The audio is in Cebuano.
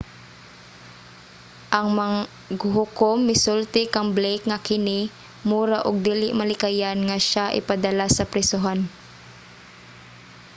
ang maghuhukom misulti kang blake nga kini mura og dili malikayan nga siya ipadala sa prisohan